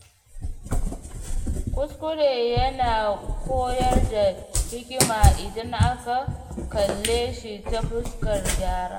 Kuskure ya na koyar da hikima idan aka kalle shi ta fuskar gyara.